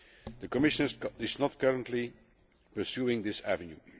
The Commission is not currently pursuing this avenue.